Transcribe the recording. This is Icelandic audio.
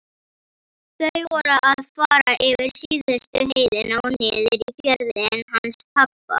Þau voru að fara yfir síðustu heiðina og niður í fjörðinn hans pabba.